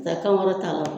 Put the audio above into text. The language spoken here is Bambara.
Taa kan wɛrɛ ta